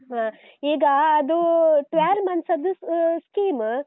ಹಾ. ಈಗ ಅದು twelve month ಅದ್ದು scheme .